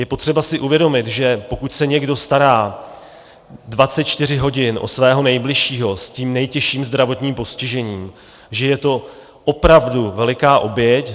Je potřeba si uvědomit, že pokud se někdo stará 24 hodin o svého nejbližšího s tím nejtěžším zdravotním postižením, že je to opravdu veliká oběť.